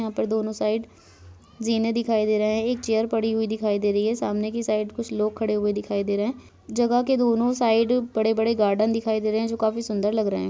यहाँ पर दोनों साइड जीने दिखाई दे रहै है एक चेयर पड़ी हुई दिखाई दे रही है सामने की साइड कुछ लोग दिखाई दे रहै है जगह के दोनो साइड बड़े-बड़े गार्डन दिखाई दे रहैे है जो काफी सुन्दर लग रहे है।